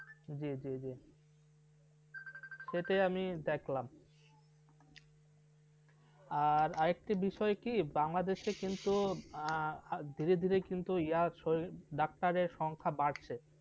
জি জী জী সেটাই আমি দেখলাম আর আরেকটা বিষয় কি বাংলাদেশে কিন্তু ধীরে ধীরে doctor র সংখ্যা বাড়ছে।